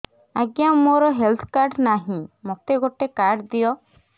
ଆଜ୍ଞା ମୋର health card ନାହିଁ ମୋତେ ଗୋଟେ କାର୍ଡ ଦିଅ